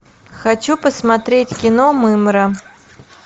хочу посмотреть кино мымра